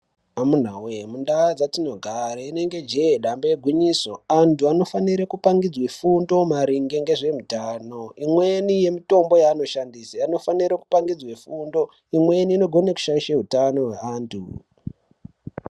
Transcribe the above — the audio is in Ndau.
Amuna voye mundaa dzatinogare inenge jee dambe igwinyiso. Antu anofanire kupangidzwe fundo maringe ngezvemutano. Imweni yemutombo yanoshandise anofanire kupangidzwe fundo. Imweni inogone kushaishe hutano hweantu.